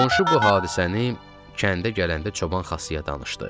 Qonşu bu hadisəni kəndə gələndə çoban Xasıya danışdı.